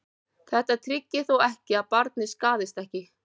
þetta tryggir þó ekki að barnið skaðist ekki